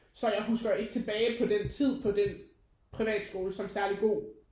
Så jeg husker ikke tilbage på den tid på den privatskole som særlig god